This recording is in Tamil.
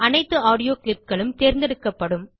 அனைத்து ஆடியோ clipகளும் தேர்ந்தெடுக்கப்படும்